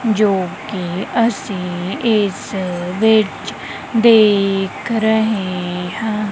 ਜੋ ਕੇ ਅੱਸੀਂ ਇੱਸ ਵਿੱਚ ਦੇਖ ਰਹੇ ਹਨ।